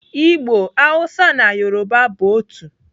Igbo, Hausa na Yoruba bụ otu.